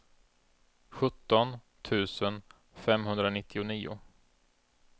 sjutton tusen femhundranittionio